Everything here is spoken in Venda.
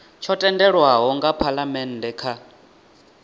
tsho tendelwaho nga phalamennde kha